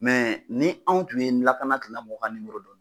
ni anw tun ye lakana tigilamɔgɔw ka dɔn